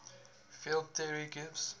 field theory gives